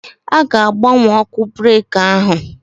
A ga-agbanwe ọkụ breki ahụ.